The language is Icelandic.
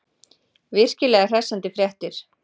Virkilega hressandi fréttir.